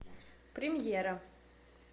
премьера